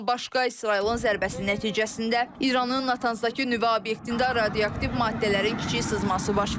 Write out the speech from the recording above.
Bundan başqa İsrailin zərbəsi nəticəsində İranın Natanzdakı nüvə obyektində radioaktiv maddələrin kiçik sızması baş verib.